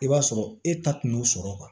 I b'a sɔrɔ e ta tun y'o sɔrɔ